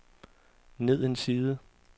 ned en side